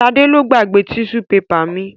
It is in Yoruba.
Sadé lo gbogbo tíṣú pepà mi.